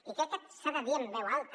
i crec que s’ha de dir en veu alta